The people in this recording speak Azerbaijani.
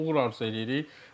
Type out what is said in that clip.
Uğur arzu eləyirik.